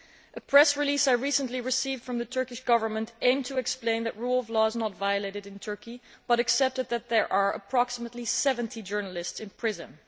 A press release I recently received from the Turkish Government aimed to explain that the rule of law is not violated in Turkey but accepted that there are approximately 70 journalists in prison.